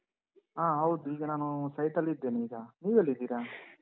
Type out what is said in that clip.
ಹಾ. ಹೌದು. ಈಗ ನಾನು site ಅಲ್ಲಿದ್ದೇನೀಗ. ನೀವೆಲ್ಲಿದ್ದೀರಾ?